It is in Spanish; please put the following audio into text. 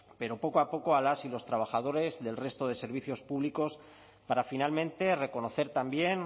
pero poco a poco a las y los trabajadores del resto de servicios públicos para finalmente reconocer también